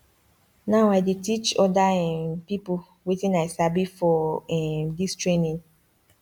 now i dey teach oda um pipo wetin i sabi for um dis training